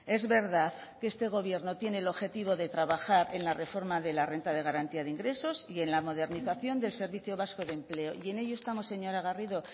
es verdad que este gobierno tiene el objetivo de trabajar en la reforma de la renta de garantía de ingresos y en la modernización del servicio vasco de empleo y en ello estamos señora garrido